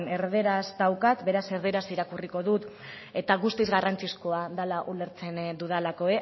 erdaraz daukat beraz erdaraz irakurriko dut eta guztiz garrantzizkoa dela ulertzen dudalako